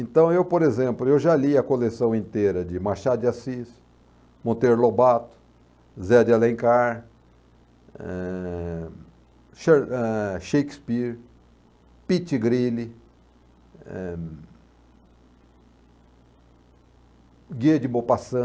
Então, eu, por exemplo, já li a coleção inteira de Machado de Assis, Monteiro Lobato, Zé de Alencar, eh, Sha, eh, Shakespeare, Pit Grille, Guia de Bopassan.